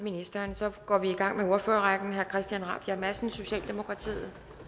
ministeren så går vi i gang med ordførerrækken herre christian rabjerg madsen socialdemokratiet